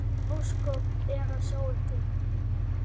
Ósköp er að sjá ykkur.